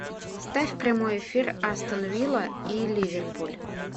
ставь прямой эфир астон вилла и ливерпуль